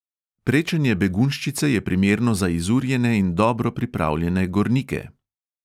Prečenje begunjščice je primerno za izurjene in dobro pripravljene gornike.